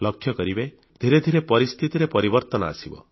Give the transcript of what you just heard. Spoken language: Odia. ଲକ୍ଷ୍ୟ କରିବେ ଧିରେ ଧିରେ ପରିସ୍ଥିତିରେ ପରିବର୍ତ୍ତନ ଆସିବ